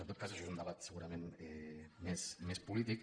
en tot cas això és un debat segurament més polític